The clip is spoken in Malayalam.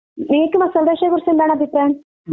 നിങ്ങൾക്ക് മസാലദോശയെക്കുറിച്ച് എന്താണ് അഭിപ്രായം?